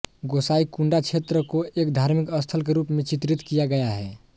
गोसाईकुंडा क्षेत्र को एक धार्मिक स्थल के रूप में चित्रित किया गया है